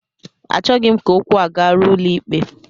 Achọghị m ka okwu a garuo ụlọikpe